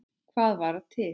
Hvað var til?